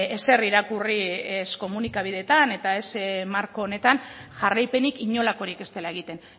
ezer irakurri ez komunikabideetan eta ez marko honetan jarraipenik inolakorik ez dela egiten